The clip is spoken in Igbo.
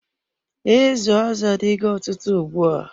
Izu azụ adigo ọtụtụ ugbua.